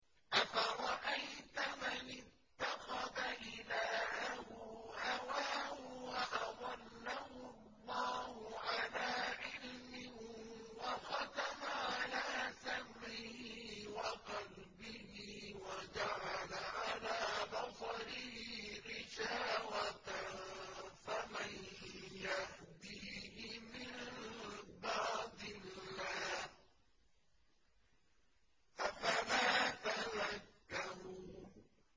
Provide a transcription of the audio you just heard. أَفَرَأَيْتَ مَنِ اتَّخَذَ إِلَٰهَهُ هَوَاهُ وَأَضَلَّهُ اللَّهُ عَلَىٰ عِلْمٍ وَخَتَمَ عَلَىٰ سَمْعِهِ وَقَلْبِهِ وَجَعَلَ عَلَىٰ بَصَرِهِ غِشَاوَةً فَمَن يَهْدِيهِ مِن بَعْدِ اللَّهِ ۚ أَفَلَا تَذَكَّرُونَ